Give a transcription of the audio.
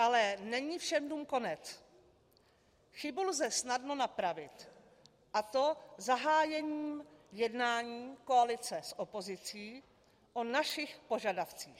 Ale není všem dnům konec, chybu lze snadno napravit, a to zahájením jednání koalice s opozicí o našich požadavcích.